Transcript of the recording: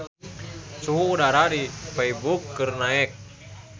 Suhu udara di Feiburg keur naek